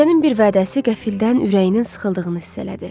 Gecənin bir vədəsi qəfildən ürəyinin sıxıldığını hiss elədi.